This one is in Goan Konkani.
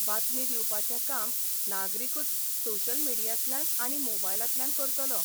बातमी दिवपाचें काम नागरिकूच सोशल मिडियांतल्यान आनी मोबायलांतल्यान करतलो.